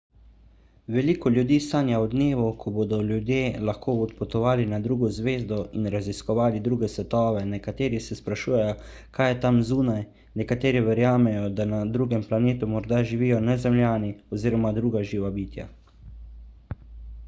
veliko ljudi sanja o dnevu ko bodo ljudje lahko odpotovali na drugo zvezdo in raziskovali druge svetove nekateri se sprašujejo kaj je tam zunaj nekateri verjamejo da na drugem planetu morda živijo nezemljani oziroma druga živa bitja